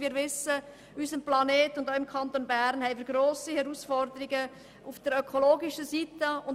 Wir wissen, dass wir auf unserem Planeten und auch im Kanton Bern grosse Herausforderungen haben.